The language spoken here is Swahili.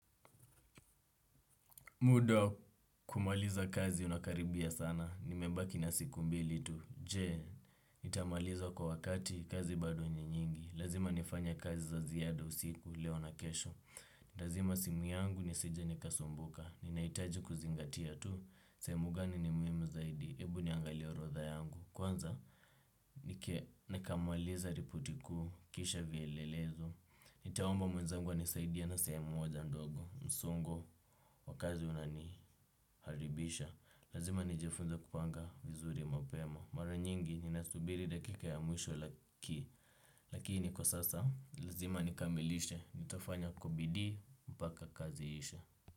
Muda wa kumaliza kazi unakaribia sana. Nimebaki na siku mbili tu. Je, nitamaliza kwa wakati? Kazi bado ni nyingi. Lazima nifanye kazi za ziada usiku, leo na kesho. Nitazima simu yangu nisije nikasumbuka. Ninahitaji kuzingatia tu. Sehemu gani ni muhimu zaidi. Hebu niangalie orodha yangu. Kwanza, nikamalize ripoti kuu. Kisha vielelezo. Nitaomba mwenzangu anisaidie na sehemu moja ndogo. Msongo, wa kazi unani. Haribisha. Lazima nijifunze kupanga vizuri mapema. Mara nyingi ninasubiri dakika ya mwisho lakini kwa sasa lazima nikamilishe, nitafanya kwa bidii mpaka kazi iishe.